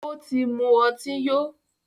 Ó tí mú ọtí yó.